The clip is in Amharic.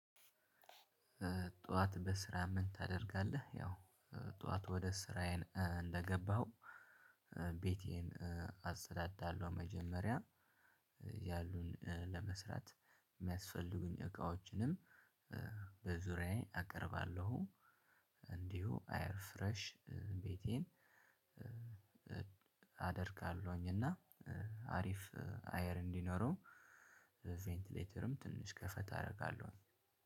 ጠዋት በስራ ምን ታደርጋለህ? ያው ጠዋት ወደ ስራዬ እንደገባሁ ቤቴን አጸዳዳለሁ። መጀመሪያ ያሉን ለመስራት የሚያስፈልጉኝ እቃዎችንም በዙሪያዬ አቀርባለሁ። እንዲሁ አየር ፍሬሽ ቤቴን አደርጋለሁኝ። እና አሪፍ አየር እንዲኖረው ቬንትሌተርም ትንሽ ከፈት አደርጋለሁ።